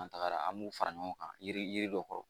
An tagara an b'u fara ɲɔgɔn kan yiri dɔ